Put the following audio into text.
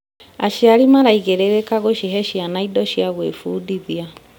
Aciari maraigĩrĩrĩka gũcihe ciana indo cia gwĩbundithia.